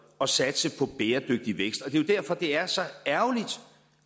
og satse på bæredygtig vækst og det er derfor det er så ærgerligt